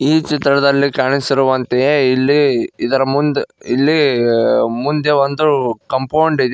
ಈ ಚಿತ್ರದಲ್ಲಿ ಕಾಣಿಸಿರುವಂತೆಯೇ ಇಲ್ಲಿ ಇದರ ಮುಂದ್ ಇಲ್ಲಿ ಮುಂದೆ ಒಂದು ಕಾಂಪೌಂಡ್ ಇದೆ.